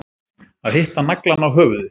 Að hitta naglann á höfuðið